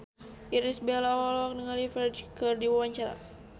Irish Bella olohok ningali Ferdge keur diwawancara